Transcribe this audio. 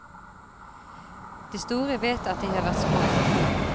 De store vet at de har vært små engang.